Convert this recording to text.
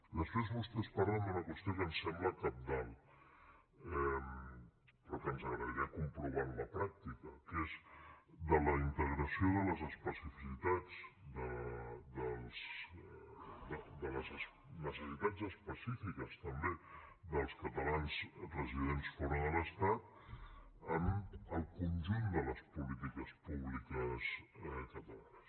després vostès parlen d’una qüestió que em sembla cabdal però que ens agradaria comprovar en la pràctica que és la integració de les especificitats de les necessitats específiques també dels catalans residents fora de l’estat en el conjunt de les polítiques públiques catalanes